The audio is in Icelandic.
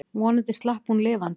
Vonandi slapp hún lifandi.